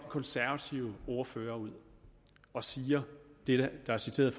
konservative ordfører ud og siger det der er citeret